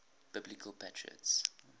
biblical patriarchs